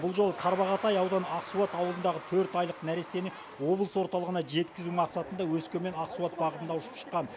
бұл жолы тарбағатай ауданы ақсуат ауылындағы төрт айлық нәрестені облыс орталығына жеткізу мақсатында өскемен ақсуат бағытында ұшып шыққан